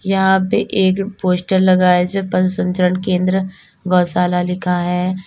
यहां पे एक पोस्टर लगा है जो पशु संरक्षण केंद्र गौशाला लिखा है।